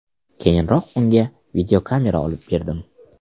Keyinroq unga videokamera olib berdim.